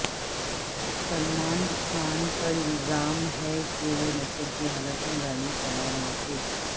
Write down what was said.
سلمان خان پر الزام ہے کہ وہ نشے کی حالت میں گاڑی چلا رہے تھے